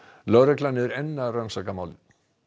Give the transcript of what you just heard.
lögregla er enn að rannsaka málið